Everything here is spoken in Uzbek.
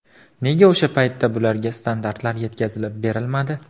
Nega o‘sha paytda bularga standartlar yetkazilib berilmadi?